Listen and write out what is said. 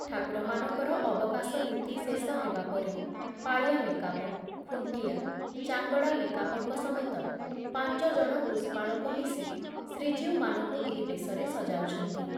ଠାକୁରମାନଙ୍କର ଅବକାଶ ନୀତି ଶେଷ ହେବାପରେ ପାଳିଆ ମେକାପ, ଖୁଣ୍ଟିଆ, ଚାଙ୍ଗଡା ମେକାପଙ୍କ ସମେତ ପାଞ୍ଚଜଣ ପୁଷ୍ପାଳକ ମିଶି ଶ୍ରୀଜୀଉମାନଙ୍କୁ ଏହି ବେଶରେ ସଜାଉଛନ୍ତି।